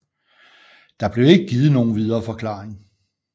Der blev ikke givet nogen videre forklaring